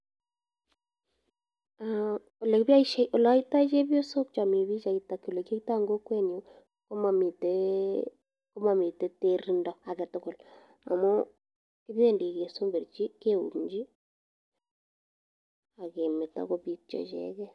Olekiboishe oleyoito chebiosok chomii pichait ak olekiyoito en kokwenyun ko momiten terindo aketukul amun kibendi kesemberchi kiumchi ak kemeto kobitio icheken.